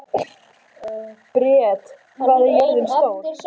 Briet, hvað er jörðin stór?